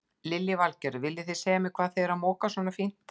Lillý Valgerður: Viljið þið segja mér hvað þið eruð að moka svona fínt?